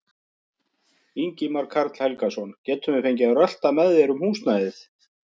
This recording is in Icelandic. Ingimar Karl Helgason: Getum við fengið að rölta með þér um húsnæðið?